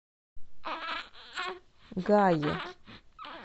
гае